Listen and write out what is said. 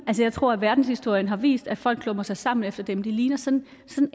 jeg tror at verdenshistorien har vist at folk klumper sig sammen efter dem de ligner sådan